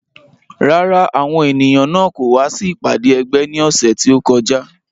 Rárá, àwọn ènìyàn náà kò wá sí ìpàdé ẹgbẹ́ ní ọ̀sẹ̀ tí ó kọjá